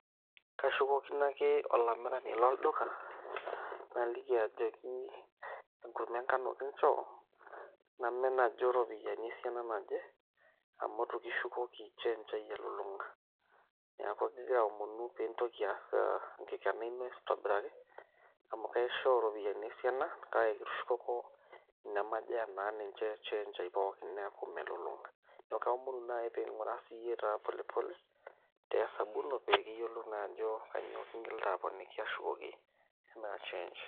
Kashukokino ake olamirani lolduka naliki ajoki enkurma engano kinchoo, namen ajo iropiyiani esiana naje amu itu kishukoki change ai elulung'a, neeku agira aomonu piintoki aas enkikena ino aitobiraki amu kaishoo iropiyiani esiana kake kitushukoko inemajo enaa ninye change aai pooki neeku melulung'a, neeku kaomonu naai pee ing'uraa polepole te esabu ino pee kiyiolou naa ajo kainyioo kingilita aponiki ashukoki enaa change.